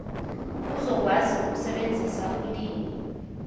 uzokwazi ukusebenzisa ulimi